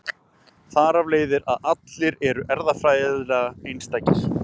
Þar af leiðir að allir eru erfðafræðilega einstakir.